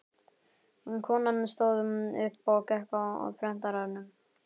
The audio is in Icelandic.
Konan stóð upp og gekk að prentaranum.